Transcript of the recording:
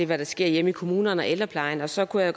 hvad der sker hjemme i kommunerne og ældreplejen så kunne